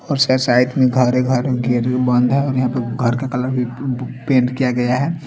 और श-शायद घरे-घर में गेट भी बंद हैं और यहा पे घर का कलर भी प-प-पेंट किया गया हैं।